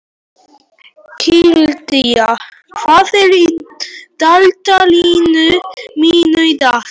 Kládía, hvað er í dagatalinu mínu í dag?